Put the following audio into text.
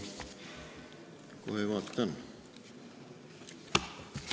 Kohe vaatan.